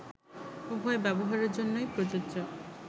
উভয়ে ব্যবহারের জন্যই প্রযোজ্য